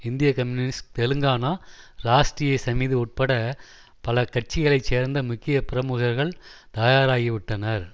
இந்திய கம்யூனிஸ்ட் தெலுங்கானா ராஷ்ட்ரிய சமிதி உட்பட பல கட்சிகளை சேர்ந்த முக்கிய பிரமுகர்கள் தயாராகிவிட்டனர்